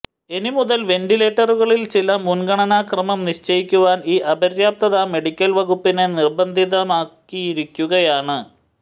ഇനിമുതൽ വെന്റിലേറ്ററുകളിൽ ചില മുൻഗണനാ ക്രമം നിശ്ചയിക്കുവാൻ ഈ അപര്യാപ്തത മെഡിക്കൽ വകുപ്പിനെ നിർബന്ധിതമാക്കിയിരിക്കുകയാണ്